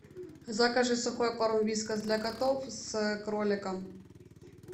закажи сухой корм вискас для котов с кроликом